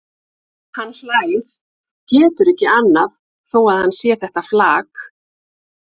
Hann hlær, getur ekki annað þó að hann sé þetta flak.